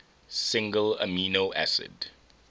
single amino acid